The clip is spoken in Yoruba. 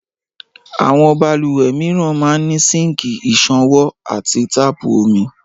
Àwọn balùwẹ̀ mìíràn máa ń ní síǹkì ìṣanwọ́ àti táàpù omi